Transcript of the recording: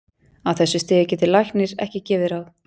Á þessu stigi getur læknir ekki gefið ráð.